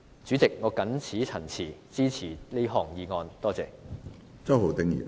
主席，我謹此陳辭，支持這項議案。